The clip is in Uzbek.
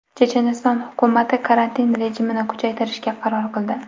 Checheniston hukumati karantin rejimini kuchaytirishga qaror qildi.